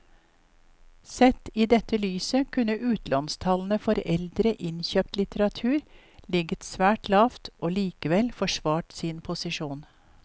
Sett i dette lyset kunne utlånstallene for eldre innkjøpt litteratur ligget svært lavt og likevel forsvart sin posisjon.